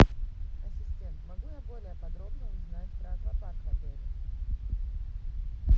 ассистент могу я более подробно узнать про аквапарк в отеле